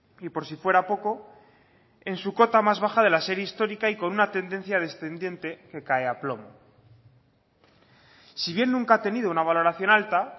y por si fuera poco en su cota más baja de la serie histórica y con una tendencia descendiente que cae a plomo si bien nunca ha tenido una valoración alta